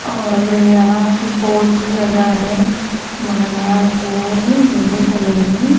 और यहां पे बोर्ड भी लगा है रोड येलो कलर में।